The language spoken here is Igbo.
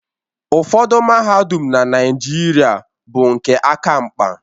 Ụfọdụ mahadum na Naịjirịa bụ nke aka mkpa.